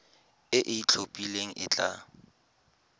e e itlhophileng e tla